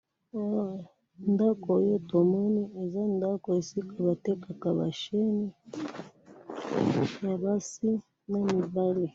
he ndaku oyo tomoni eza ndaku oyo esika ba tekaka ba chene ya basi na mibali